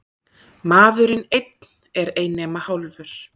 Maðurinn einn er ei nema hálfur.